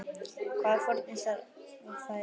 Hvaða fórnir þarf að færa?